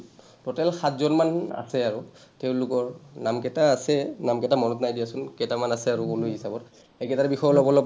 total সাতজন মান আছে আৰু। তেওঁলোকৰ নামকেইটা আছে, নামকেইটা মনত নাই দিয়াচোন কেইটামান আছে আৰু গুণী হিচাপত, সেইকেইটাৰ বিষয়েও অলপ অলপমান